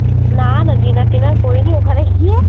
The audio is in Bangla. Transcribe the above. না না Dinner টিনার করিনি ওখানে গিয়ে